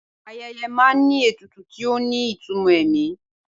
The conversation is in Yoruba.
Ayẹyẹ máa ń ní ètùtù tí ó ní ìtumọ̀ ẹ̀mí